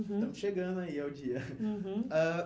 Uhum. Estamos chegando aí ao dia. Uhum. Ãh